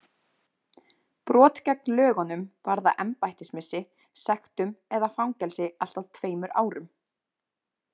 Brot gegn lögunum varða embættismissi, sektum eða fangelsi allt að tveimur árum.